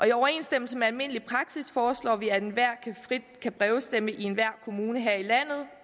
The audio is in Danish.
i overensstemmelse med almindelig praksis foreslår vi at enhver frit kan brevstemme i enhver kommune her i landet